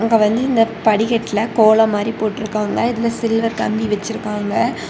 இப்ப வந்து இந்த படிக்கட்டில் கோலம் மாதிரி போட்டு இருக்காங்க இதுல சில்வர் கம்பி வெச்சிருக்காங்க.